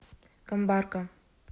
камбарка